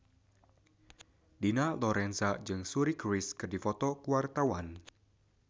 Dina Lorenza jeung Suri Cruise keur dipoto ku wartawan